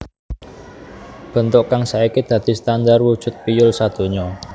Bentuk kang saiki dadi standar wujud piyul sadonya